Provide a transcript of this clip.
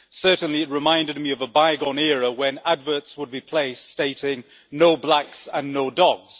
Certainly it reminded me of a bygone era when adverts would be placed stating no blacks and no dogs'.